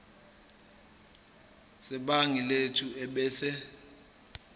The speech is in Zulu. sebhangi lethu ebese